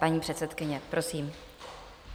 Paní předsedkyně, prosím.